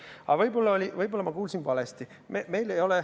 Aga võib-olla ma kuulsin valesti.